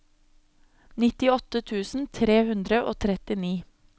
nittiåtte tusen tre hundre og trettini